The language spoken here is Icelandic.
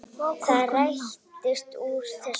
Það rættist úr þessu.